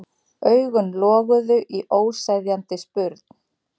Augun loguðu í óseðjandi spurn.